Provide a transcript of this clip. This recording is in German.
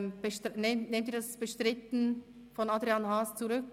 Nehmen Sie das Bestreiten von Adrian Haas zurück?